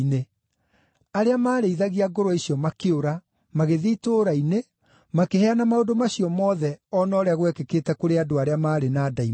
Arĩa maarĩithagia ngũrwe icio makĩũra, magĩthiĩ itũũra-inĩ, makĩheana maũndũ macio mothe o na ũrĩa gwekĩkĩte kũrĩ andũ arĩa maarĩ na ndaimono.